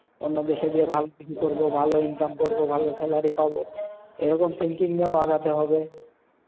অন্য দেশে গিয়ে ভালো কিছু করবো, ভালো income করবো, ভালো salary পাবো, এই রকম thinking নিয়েও আগাতে হবে।